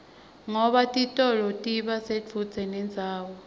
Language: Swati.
ngoba titolo tiba sedvute nendzawo